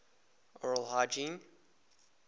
oral hygiene